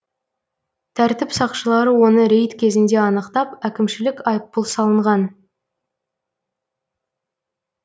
тәртіп сақшылары оны рейд кезінде анықтап әкімшілік айыппұл салынған